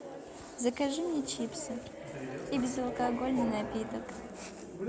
закажи мне чипсы и безалкогольный напиток